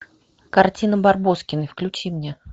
картина барбоскины включи мне